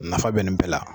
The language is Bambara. Nafa bɛ nin bɛɛ la